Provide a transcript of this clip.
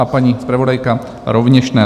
A paní zpravodajka rovněž ne.